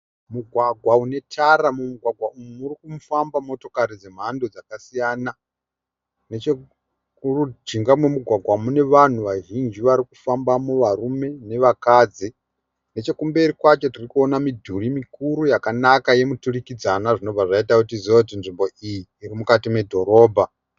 Mugwagwa une tara. Mumugwagwa umu murikufamba motokari dzemhando dzakasiyana. Nechemujinga memugwagwa mune vanhu vazhinji varikufambamo varume nevakadzi. Nechekumberi kwacho tirikuona midhuri mikuru yakanaka yemuturikidzana zvinobva zvaita kuti tizive kuti nzvimbo iyi iri mukati medhorobha.